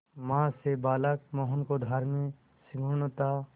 मां से बालक मोहन को धार्मिक सहिष्णुता